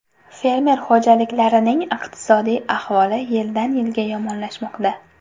Fermer xo‘jaliklarining iqtisodiy ahvoli yildan-yilga yomonlashmoqda.